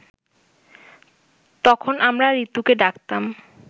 তখন আমরা ঋতুকে ডাকতাম